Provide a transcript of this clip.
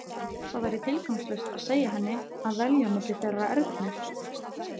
Það væri tilgangslaust að segja henni að velja milli þeirra Ernu.